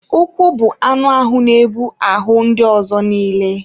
Ụkwụ bụ anụ ahụ na-ebu ahụ ndị ọzọ nille.